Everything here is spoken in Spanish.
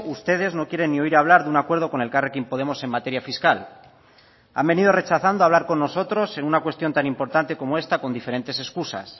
ustedes no quieren ni oír hablar de un acuerdo con elkarrekin podemos en materia fiscal han venido rechazando hablar con nosotros en una cuestión tan importante como esta con diferentes excusas